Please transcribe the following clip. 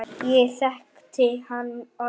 Ég þekkti hann orðið.